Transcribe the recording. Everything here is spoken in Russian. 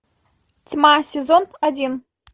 тьма сезон один